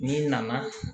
N'i nana